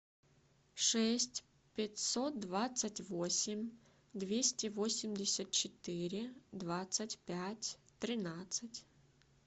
шесть пятьсот двадцать восемь двести восемьдесят четыре двадцать пять тринадцать